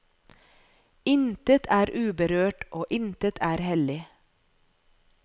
Intet er uberørt og intet er hellig.